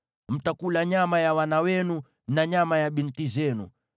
Mtakula nyama ya wana wenu na nyama ya binti zenu.